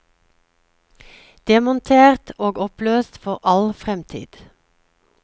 Demontert og oppløst for all fremtid.